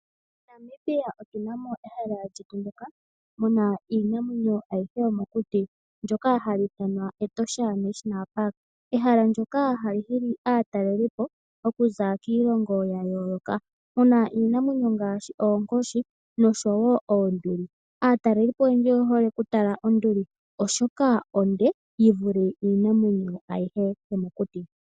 MoNamibia otuna mo ehala lyetu ndyoka muna iinamwenyo ayihe yomokuti ndoka hali ithanwa Etosha National Park. Ehala ndoka hali hili aataleli po, okuza kiilongo ya yooloka muna iinamwenyo ngaashi oonkoshi noshowo oonduli. Aataleli po oyandji oya hole oku tala onduli oshoka onde yivule iinamwenyo ayihe yomokuti.